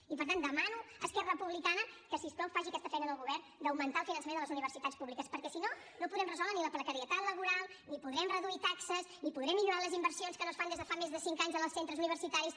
i per tant demano a esquerra republicana que si us plau faci aquesta feina en el govern d’augmentar el finançament de les universitats públiques perquè si no no podrem resoldre ni la precarietat laboral ni podrem reduir taxes ni podrem millorar les inversions que no es fan des de fa més de cinc anys en els centres universitaris